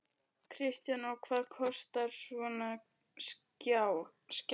Kristján: Og hvað kostar svona skjal?